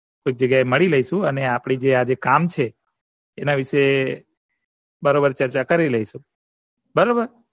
એક જગ્યા મળી લીઈસુ અને આપડે જે કામ છે એના વિશે બરોબર ચર્ચા કરી લીઇસુ બરોબર